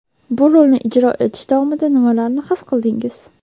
Bu rolni ijro etish davomida nimalarni his qildingiz?